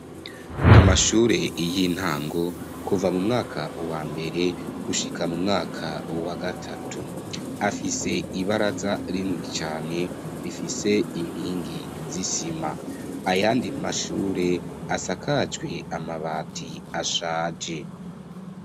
Amashure y'intango, kuva mu mwaka wa mbere gushika mu mwaka wa gatatu, afise ibaraza rini cane, bifise inkingi z'isima, ayandi mashure asakajwe amabati ashaje.